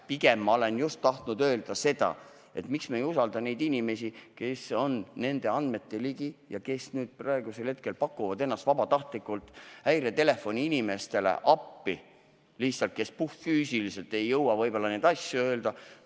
Pigem olen ma just tahtnud öelda seda, et miks me ei usalda neid inimesi, kes on nende andmete ligi ja kes nüüd pakuvad ennast vabatahtlikult häiretelefoni inimestele appi, kes võib-olla puhtfüüsiliselt ei jõua seda ülesannet täita.